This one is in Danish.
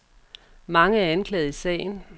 Mange er anklaget i sagen.